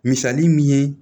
Misali min ye